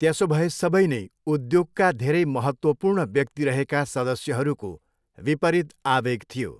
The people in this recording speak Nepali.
त्यसोभए सबै नै उद्योगका धेरै महत्त्वपूर्ण व्यक्ति रहेका सदस्यहरूको विपरित आवेग थियो।